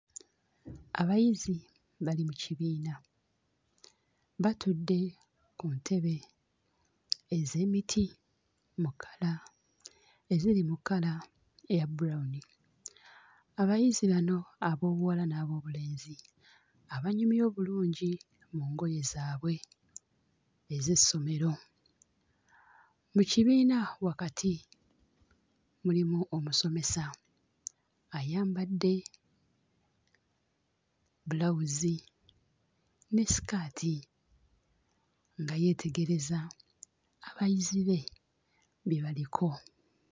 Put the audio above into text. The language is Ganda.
Abayizi bali mu kibiina batudde ku ntebe ez'emiti mu kkala eziri mu kkala eya brown. Abayizi bano ab'obuwala n'ab'obulenzi abanyumye obulungi mu ngoye zaabwe ez'essomero. Mu kibiina wakati mulimu omusomesa ayambadde bbulawuzi ne ssitaati nga yeetegereza abayizi be bye baliko.